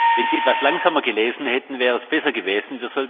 Wenn Sie etwas langsamer gelesen hätten, wäre es besser gewesen.